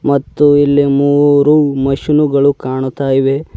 ಮತ್ತು ಇಲ್ಲಿ ಮೂರು ಮಷೀನ್ ಗಳು ಕಾಣುತ್ತ ಇವೆ.